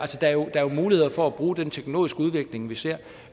er jo muligheder for at bruge den teknologiske udvikling vi ser